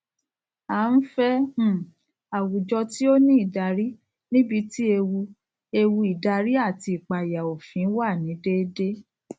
a nfẹ um àwùjọ tí o ní ìdarí níbití ewu ewu ìdarí àti ipaya òfin wà ni dédé